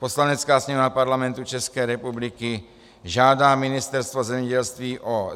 Poslanecká sněmovna Parlamentu České republiky žádá Ministerstvo zemědělství o